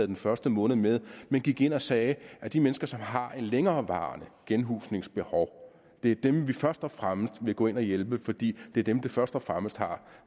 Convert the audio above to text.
den første måned med men gik ind og sagde at de mennesker som har et længerevarende genhusningsbehov er dem vi først og fremmest vil gå ind og hjælpe fordi det er dem der først og fremmest har